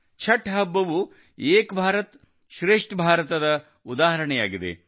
ಛಠ್ ಹಬ್ಬವು ಏಕ್ ಭಾರತ್ ಶ್ರೇಷ್ಠ ಭಾರತದ ಉದಾಹರಣೆಯಾಗಿದೆ